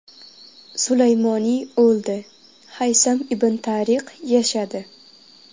Sulaymoniy o‘ldi, Haysam ibn Tariq yashadi.